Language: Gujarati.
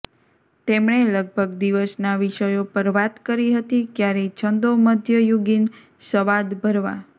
તેમણે લગભગ દિવસના વિષયો પર વાત કરી હતી ક્યારેય છંદો મધ્યયુગીન સ્વાદ ભરવા